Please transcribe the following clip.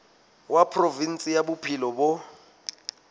wa provinse ya bophelo bo